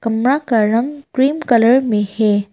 कमरा का रंग क्रीम कलर में है।